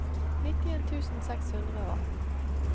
nittien tusen seks hundre og atten